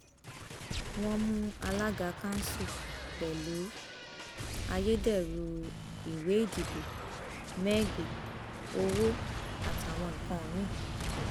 wọn mú alága kanṣu pẹlú ayédèrú ìwé ìdìbò mẹgí owó àtàwọn nǹkan mi